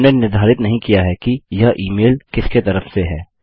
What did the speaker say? हमने निर्धारित नहीं किया है कि यह इ मेल किसके तरफ से है